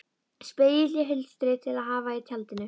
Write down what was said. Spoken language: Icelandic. Spegill í hulstri til að hafa í tjaldinu.